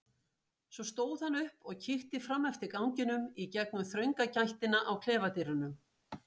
Svo stóð hann upp og kíkti fram eftir ganginum í gegnum þrönga gættina á klefadyrunum.